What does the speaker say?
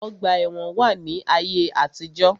Ọgbà ẹ̀wọn wà ní ayé àtijó.